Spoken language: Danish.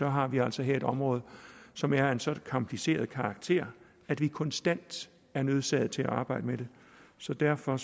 har vi altså her et område som er af en så kompliceret karakter at vi konstant er nødsaget til at arbejde med det så derfor